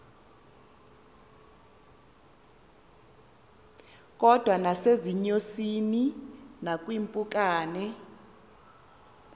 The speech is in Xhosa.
kodwa nasezinyosini nakwiimpukane